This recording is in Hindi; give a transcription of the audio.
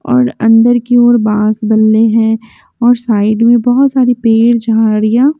और अंदर की ओर बांस बनने हैं और साइड में बहुत सारी पेड़ झाड़ियाँ--